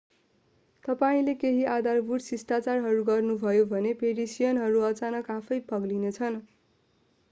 तपाईंले केही आधारभूत शिष्टाचारहरू गर्नुभयो भने पेरिसियनहरू अचानक आफैं पग्लिने छन्‌।